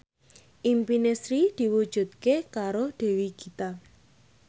impine Sri diwujudke karo Dewi Gita